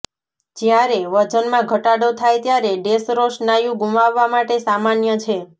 જ્યારે વજનમાં ઘટાડો થાય ત્યારે ડેશરો સ્નાયુ ગુમાવવા માટે સામાન્ય છે